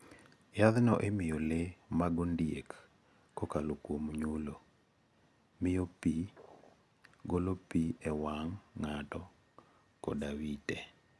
Yadhno imiyo le mag ondiek kokalo kuom nyulo, miyo pi, golo pi e wang ' ng'ato, koda wite.